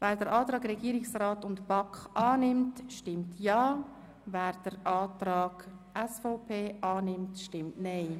wer den Antrag SVP/Guggisberg auf Streichung annehmen will, stimmt Nein.